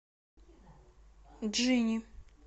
джинни